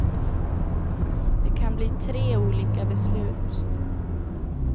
Det kan bli tre olika beslut.